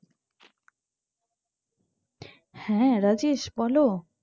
হ্যাঁ রাজেশ বলো